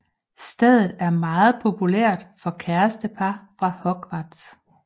Stedet er meget populært for kærestepar fra Hogwarts